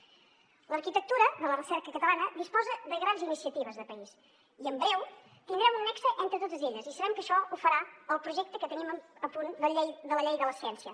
l’arquitectura de la recerca catalana disposa de grans iniciatives de país i en breu tindrem un nexe entre totes elles i sabem que això ho farà el projecte que tenim a punt de la llei de la ciència